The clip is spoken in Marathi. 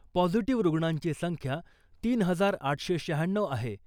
पॉझिटिव्ह रुग्णांची संख्या तीन हजार आठशे शहाण्णऊ आहे .